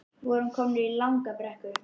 Við vorum komin í langa brekku